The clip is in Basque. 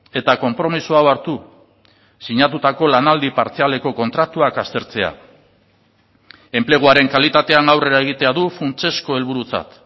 eta konpromiso hau hartu sinatutako lanaldi partzialeko kontratuak aztertzea enpleguaren kalitatean aurrera egitea du funtsezko helburutzat